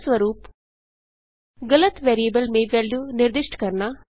उदाहरणस्वरूप गलत वेरिएबल में वेल्यू निर्दिष्ट करना